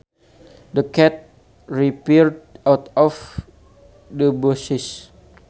The cat reappeared out of the bushes